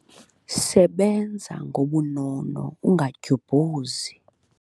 Sebenza ngobunono ungadyubhuzi.